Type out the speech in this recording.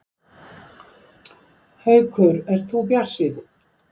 Haukur: Ert þú bjartsýnn?